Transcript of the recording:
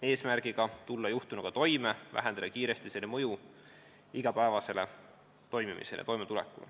Eesmärk on aidata neil juhtunuga toime tulla ja vähendada kiiresti selle mõju igapäevasele toimimisele.